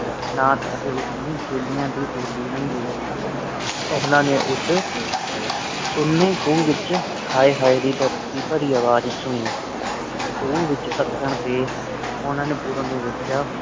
ਨਾਟ ਅਤੇ ਉਸ ਦੇ ਚੇਲਿਆਂ ਦੀ ਟੋਲੀ ਲੰਘ ਗਈ ਉਨ੍ਹਾਂ ਨੇ ਉਸ ਕੂਹ ਦੇ ਵਿਚ ਹਾਏ ਹਾਏ ਦੀ ਦਰਦ ਭਾਰੀ ਆਵਾਜ਼ ਸੁਣੀ ਖੂਹ ਵਿੱਚ ਡਿੱਗਣ ਤੇ ਉਹਨੇ ਪੂਰਨ ਨੂੰ ਵੇਖਿਆਖੂਹ